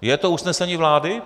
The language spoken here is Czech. Je to usnesení vlády?